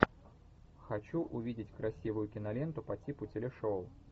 хочу увидеть красивую киноленту по типу телешоу